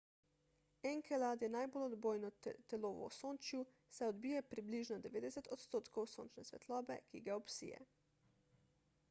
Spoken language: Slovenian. enkelad je najbolj odbojno telo v osončju saj odbije približno 90 odstotkov sončne svetlobe ki ga obsije